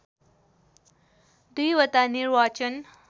२ वटा निर्वाचन